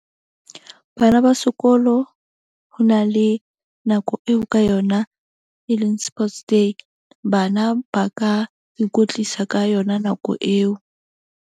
Bana ba sekolo ho na le nako eo ka yona e leng sports day, bana ba ka ikwetlisa ka yona nako eo.